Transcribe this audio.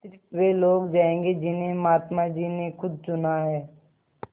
स़िर्फ वे लोग जायेंगे जिन्हें महात्मा जी ने खुद चुना है